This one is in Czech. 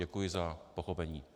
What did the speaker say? Děkuji za pochopení.